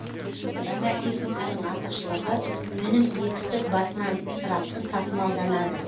жаңа техниканың артықшылығы өнім егістік басынан ысырапсыз тасымалданады